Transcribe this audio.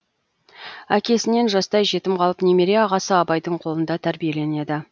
әкесінен жастай жетім қалып немере ағасы абайдың қолында тәрбиеленеді